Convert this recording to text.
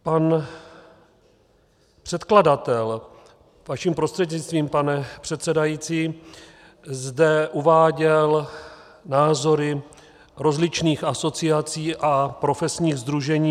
Pan předkladatel, vaším prostřednictvím, pane předsedající, zde uváděl názory rozličných asociací a profesních sdružení.